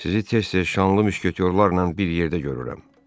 Sizi tez-tez şanlı müşketyorlarla bir yerdə görürəm.